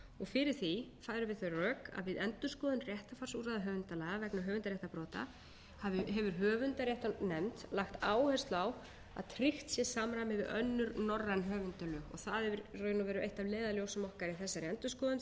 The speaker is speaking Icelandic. fyrir því færum við þau rök að við endurskoðun réttarfarsúrræða höfundalaga vegna höfundaréttarbrota hefur höfundaréttarnefnd lagt áherslu á að tryggt sé samræmi við önnur norræn höfundalög það er í raun og veru eitt af leiðarljósum okkar í þessari endurskoðun því að þetta